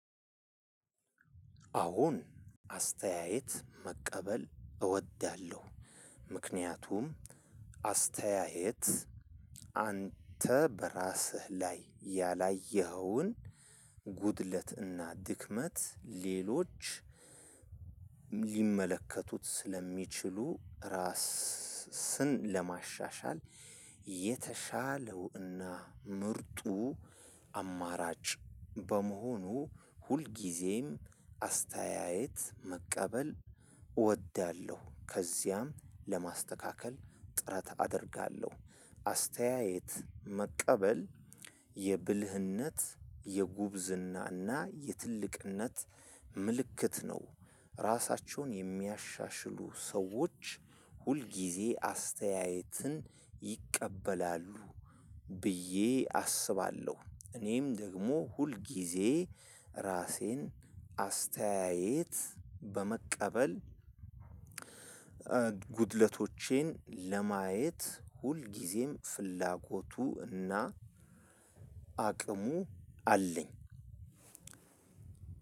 አሁን አስተያየት መቀበል እወዳለሁ። ምክንያቱም አስተያየት አንተ በራስህ ላይ ያላየኸውን ጉድለትና ድክመት ሌሎች ሊመለከቱት ስለሚችሉ ራስ ስን ለማሻሻል። የተሻለው እና ምርጡ አማራጭ በመሆኑ ሁልጊዜም አስተያየት መቀበል እወዳለሁ። ከዚያም ለማስተካከል ጥረት አደርጋለሁ። አስተያየት መቀበል የብልህነት የጉብዝናና የትልቅነት ምልክት ነው። ራሳቸውን የሚያሻሽሉ ሰዎች ሁልጊዜ አስተያየትን ይቀበላሉ ብዬ አስባለሁ። እኔም ደግሞ ሁል ጊዜ ራሴን አስተያየት በመቀበል ጉድለቶቼን ለማየት ሁልጊዜም ፍላጎቱ እና አቅሙ አለኝ።